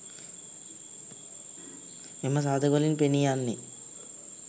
මෙම සාධකවලින් පෙනී යන්නේ